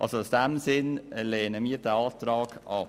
Deshalb lehnen wir diesen Antrag ab.